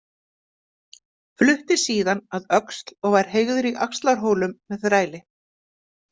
Flutti síðan að Öxl og var heygður í Axlarhólum með þræli.